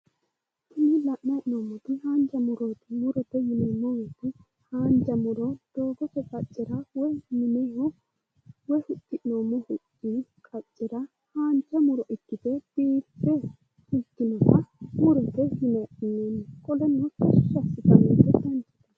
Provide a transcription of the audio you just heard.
Tini la'nayi hee'noommoti haanja murooti. Murote yineemmo woyite haanja muro doogote qaccera woyi mineho woyi huxxi'noommo huxxi qaccera haanja muro ikkite biiffe ikkinoha murote yine adhineemmo. Qoleno tashshi aasitannote tini.